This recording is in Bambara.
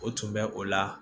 O tun bɛ o la